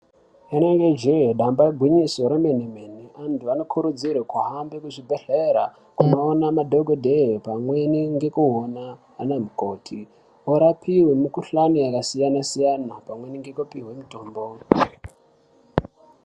Rinenge je damba igwinyiso remene mene antu anokurudzirwa kuhambe kuzvibhedhlera kundoona madhokodheya pamweni nekuona ana mukoti vapiwe mikuhlani yakasiyana-siyana pamweni nekupihwa mutombo.